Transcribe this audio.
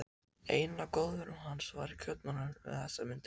Einn af góðvinum hans var í Kaupmannahöfn um þessar mundir.